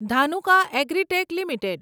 Dhanuka Agritech limited